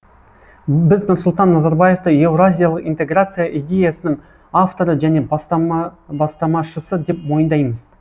біз нұрсұлтан назарбаевты еуразиялық интеграция идеясының авторы және бастамашысы деп мойындаймыз